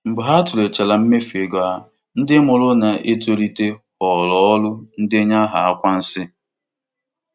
Mgbe ha tụlechara mmefu ego ha, ndị mụrụ na-etolite họọrọ ọrụ ndenye aha akwa nsị.